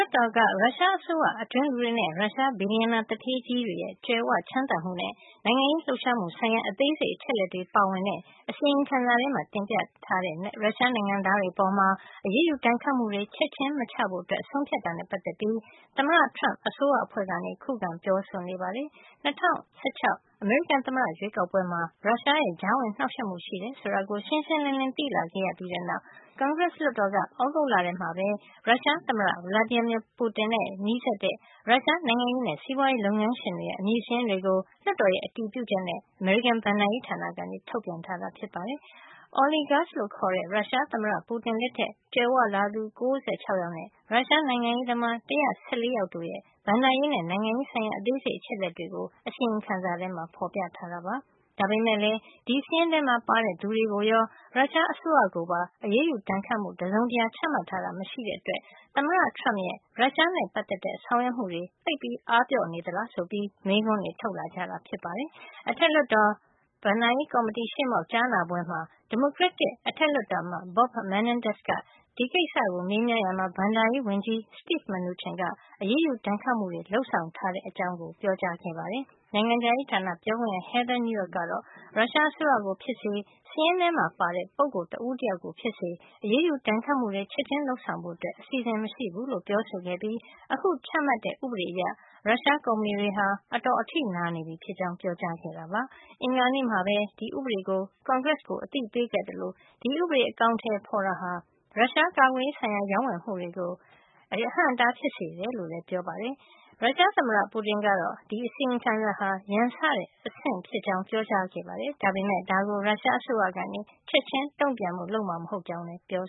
တ်တော်က ရုရှားအစိုးရအတွင်းလူတွေနဲ့ ရုရှားဘီလျံနာသူဌေးကြီးတွေရဲ့ ကြွယ်ဝချမ်းသာမှုနဲ့ နိုင်ငံရေးလှုပ်ရှားမှုဆိုင်ရာ အသေးစိတ် အချက်အလက်တွေ ပါဝင်တဲ့ အစီရင်ခံစာထဲမှာ တင်ပြထားတဲ့ ရုရှားနိုင်ငံသားတွေ အပေါ် အရေးယူဒဏ်ခတ်မှု ချက်ချင်း မချဖို့ ဆုံးဖြတ်တာနဲ့ ပတ်သက်ပြီး သမ္မတ Trump အစိုးရအဖွဲ့က ခုခံပြောဆိုနေပါတယ်။ ၂၀၁၆ အမေရိကန်သမ္မတ ရွေးကောက်ပွဲမှာ ရုရှားရဲ့ ကြားဝင်နှောက်ယှက်မှုရှိတယ်ဆိုတာ ရှင်းရှင်းလင်းလင်း သိလာခဲ့ပြီးတဲ့ နောက် ကွန်ဂရက်လွှတ်တော်က သြဂုတ်လထဲမှာ ရုရှားသမ္မတ Vladimir Putin နဲ့ နီးစပ်တဲ့ ရုရှား နိုင်ငံရေးနဲ့ စီးပွားရေး လုပ်ငန်းရှင်တွေရဲ့ အမည် စာရင်းတွေကို လွှတ်တော်ရဲ့ အတည်ပြုချက်နဲ့ အမေရိကန် ဘဏ္ဍာရေးဌာနက ထုတ်ပြန်လိုက်ပါတယ်။ “oligarchs” လို့ခေါ်တဲ့ ရုရှားသမ္မတ Putin လက်ထက်ကြွယ်ဝလာသူ ၉၆ ယောက်နဲ့ ရုရှားနိုင်ငံရေးသမား ၁၁၄ ယောက်တို့ရဲ့ ဘဏ္ဍာရေးနဲ့ နိုင်ငံရေး ဆိုင်ရာ အသေးစိတ်အချက်လက်တွေကို အစီရင်ခံစာထဲမှာ ဖေါ်ပြထားတာပါ။ ဒါပေမယ့်လည်း ဒီစာရင်းထဲပါတဲ့သူတွေကိုရော ရုရှားအစိုးရကိုပါ အရေးယူဒဏ်ခတ်မှု တစုံတရာချမှတ်ထားတာ မရှိတဲ့အတွက် သမ္မတ Trump ရဲ့ ရုရှားနဲ့ ပတ်သက်တဲ့ ဆောင်ရွက်မှုတွေ သိပ်အားပျော့နေသလား ဆိုပြီး မေးခွန်းတွေ ထုတ်လာကြတာ ဖြစ်ပါတယ်။ အထက်လွှတ်တော် ဘဏ်ကော်မတီရှေ့မှောက် ကြားနာပွဲမှာ ဒီမိုကရက်တစ်အထက်လွှတ်တော်အမတ် Bob Menendez က ဒီကိစ္စကို မေးမြန်းရာမှာ ဘဏ္ဍာရေးဝန်ကြီး Steve Mnuchin က အရေးယူဒဏ်ခတ်မှုတွေ လုပ်ဆောင်ထားတဲ့ အကြောင်း ပြောကြားခဲ့ပါတယ်။ နိုင်ငံခြားရေးဌာန ပြောခွင့်ရ Heather Nauert ကတော့ ရုရှားအစိုးရကို ဖြစ်စေ စာရင်းထဲမှာ ပါတဲ့ ပုဂ္ဂိုလ် တဦးတယောက်ကို ဖြစ်စေ အရေးယူ ဒဏ်ခတ်မှုတွေ ချက်ချင်းလုပ်ဆောင်ဖို့အစီအစဉ် မရှိဘူးလို့ ပြောဆိုခဲ့ပြီး အခုချမှတ်တဲ့ ဥပဒေအရ ရုရှား ကုမ္ပဏီတွေဟာ အတော် အထိနာနေပြီဖြစ်ကြောင်း ပြောကြားခဲ့ပါတယ်။ အင်္ဂါနေ့မှာပဲ ဒီဥပဒေကို ကွန်ဂရက်ကို အသိပေးခဲ့သလို ဒီဥပဒေ အကောင်ထည် ဖေါ်တာဟာ ရုရှားကာကွယ်ရေးဆိုင်ရာ ရောင်းဝယ်မှုတွေကို အဟန့်အတား ဖြစ်စေမယ်လို့လည်း ပြောပါတယ်။ ရုရှားသမ္မတ Putin ကတော့ ဒီအစီရင်ခံစာဟာ ရန်စတဲ့ အဆင့်ဖြစ်ကြောင်းပြောကြားခဲ့ပေမယ့် ဒါကို ရုရှားအစိုးရက ချက်ချင်းတုန့်ပြန်ဖို့ လုပ်မှာ မဟုတ်ကြောင်းလည်း ပြော